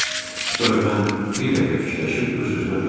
Sonra mən bir dəqiqə fikirləşib öz-özümə dedim: